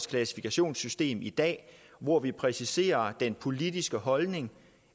klassifikationssystemet i dag hvor vi præciser den politiske holdning